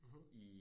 Mh